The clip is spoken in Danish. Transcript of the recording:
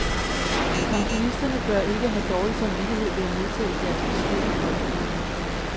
Pensionisterne bør ikke have dårlig samvittighed ved at modtage deres beskedne folkepension.